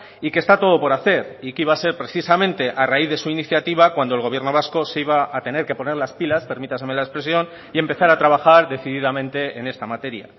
y que está todo por hacer y que iba a ser precisamente a raíz de su iniciativa cuando el gobierno vasco se iba a tener que poner las pilas permítanme la expresión y empezar a trabajar decididamente en esta materia